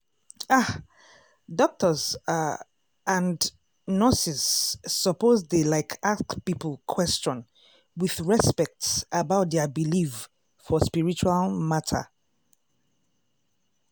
ah! doctors ah and nurses suppose dey like ask people question with respect about dia believe for spiritual matter